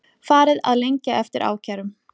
Farið að lengja eftir ákærum